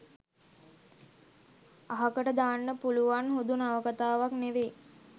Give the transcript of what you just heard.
අහකට දාන්න පුළුවන් හුදු නවකතාවක් නෙවෙයි.